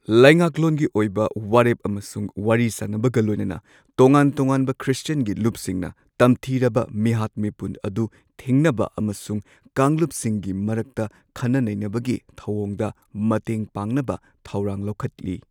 ꯂꯩꯉꯥꯛꯂꯣꯟꯒꯤ ꯑꯣꯏꯕ ꯋꯥꯔꯦꯞ ꯑꯃꯁꯨꯡ ꯋꯥꯔꯤ ꯁꯥꯅꯕꯒ ꯂꯣꯏꯅꯅ ꯇꯣꯉꯥꯟ ꯇꯣꯉꯥꯟꯕ ꯈ꯭ꯔꯤꯁꯇꯤꯌꯟꯒꯤ ꯂꯨꯞꯁꯤꯡꯅ ꯇꯝꯊꯤꯔꯕ ꯃꯤꯍꯥꯠ ꯃꯤꯄꯨꯟ ꯑꯗꯨ ꯊꯤꯡꯅꯕ ꯑꯃꯁꯨꯡ ꯀꯥꯡꯂꯨꯞꯁꯤꯡꯒꯤ ꯃꯔꯛꯇ ꯈꯟꯅ ꯅꯩꯅꯕꯒꯤ ꯊꯧꯑꯣꯡꯗ ꯃꯇꯦꯡ ꯄꯥꯡꯅꯕ ꯊꯧꯔꯥꯡ ꯂꯧꯈꯠꯂꯤ꯫